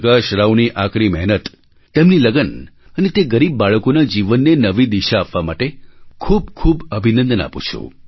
પ્રકાશ રાવની આકરી મહેનત તેમની લગન અને તે ગરીબ બાળકોના જીવનને નવી દિશા આપવા માટે ખૂબ ખૂબ અભિનંદન આપું છું